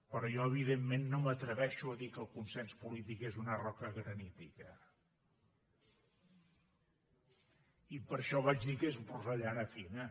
però jo evidentment no m’atreveixo a dir que el consens polític és una roca granítica i per això vaig dir que és porcellana fina